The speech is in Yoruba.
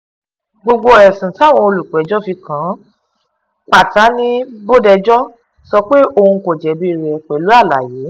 gbogbo ẹ̀sùn táwọn olùpẹ̀jọ́ fi kàn án pátá ni bòdejọ́ sọ pé òun kò jẹ̀bi rẹ̀ pẹ̀lú àlàyé